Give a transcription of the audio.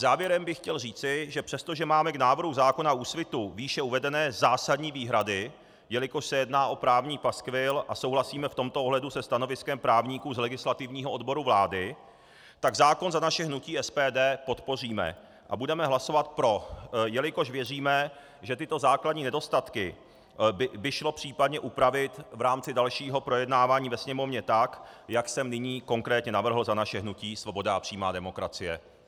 Závěrem bych chtěl říci, že přestože máme k návrhu zákona Úsvitu výše uvedené zásadní výhrady, jelikož se jedná o právní paskvil, a souhlasíme v tomto ohledu se stanoviskem právníků z Legislativního odboru vlády, tak zákon za naše hnutí SPD podpoříme a budeme hlasovat pro, jelikož věříme, že tyto základní nedostatky by šlo případně upravit v rámci dalšího projednávání ve Sněmovně tak, jak jsem nyní konkrétně navrhl za naše hnutí Svoboda a přímá demokracie.